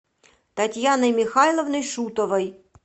татьяной михайловной шутовой